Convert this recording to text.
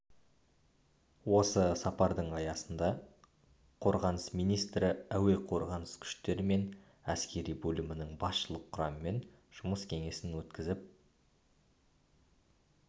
осы сапардың аясында қорғаныс министрі әуе қорғанысы күштері мен әскери бөлімнің басшылық құрамымен жұмыс кеңесін өткізіп